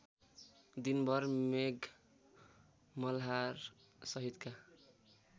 दिनभर मेघ मल्हारसहितका